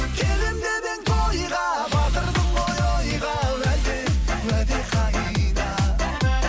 келемін деп едің тойға батырдың ғой ойға уәде уәде қайда